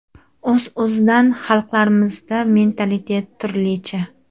O‘z-o‘zidan xalqlarmizda mentalitet turlicha.